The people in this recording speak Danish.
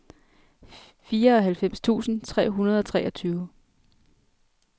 fireoghalvfems tusind tre hundrede og treogtyve